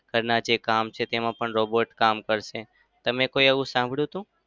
ઘરના જે કામ છે તેમાં પણ robot કામ કરશે. તમે એવું કઈ સાંભળ્યું હતું?